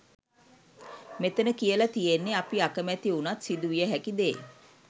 මෙතන කියල තියෙන්නේ අපි අකමැති උනත් සිදුවිය හැකි දේ.